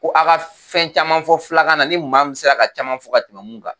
Ko a ka fɛn caman fɔ fIlakan na ,ni maa min sera ka caman fo ka tɛmɛ min kan.